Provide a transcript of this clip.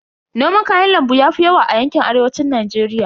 Noman kayan lambu yafi yawa a yanƙin Arewacin Najeriya.